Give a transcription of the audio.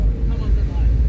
Tamam da ayə.